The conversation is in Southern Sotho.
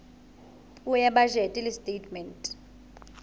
puo ya bajete le setatemente